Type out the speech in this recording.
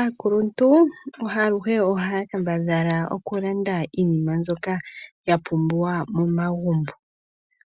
Aakuluntu aluhe ohaya kambadhala oku landa iinima mbyoka ya pumbiwa momagumbo.